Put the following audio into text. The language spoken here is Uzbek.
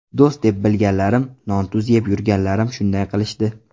Do‘st deb bilganlarim, non-tuz yeb yurganlarim shunday qilishdi.